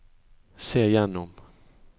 se gjennom